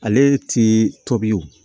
Ale ti tobi o